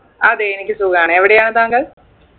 അതെ എനിക്ക് സുഖാണ് എവിടെയാണ് താങ്കൾ